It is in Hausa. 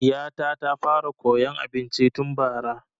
Ɗiya ta ta fara koyan abinci tun bara